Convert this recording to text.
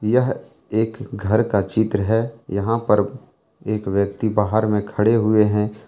यह एक घर का चित्र है यहां पर एक व्यक्ति बाहर में खड़े हुए हैं।